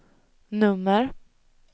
nummer